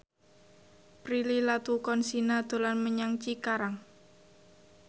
Prilly Latuconsina dolan menyang Cikarang